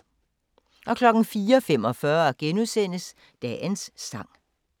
04:45: Dagens sang *